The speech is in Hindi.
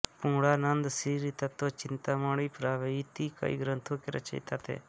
पूर्णानन्द श्रीतत्त्वचिन्तामणि प्रभृति कई ग्रंथों के रचयिता थे